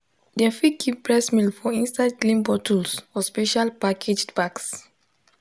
dem fit keep breast milk for inside clean bottles or special packaged bags